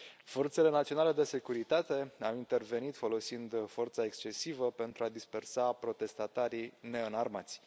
Forțele naționale de securitate au intervenit, folosind forța excesivă, pentru a dispersa protestatarii neînarmați.